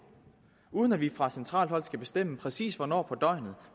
uden at vi fra centralt hold skal bestemme præcis hvornår på døgnet